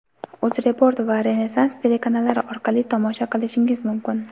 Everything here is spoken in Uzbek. "UzReport" va "Renessans" telekanallari orqali tomosha qilishingiz mumkin.